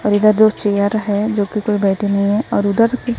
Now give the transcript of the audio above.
और इधर दो चेयर है जो की कोई बैठे नहीं हैं और उधर--